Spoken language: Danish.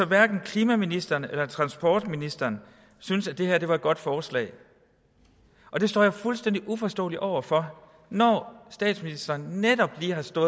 hverken klimaministeren eller transportministeren syntes at det her var et godt forslag og det står jeg fuldstændig uforstående over for når statsministeren netop lige har stået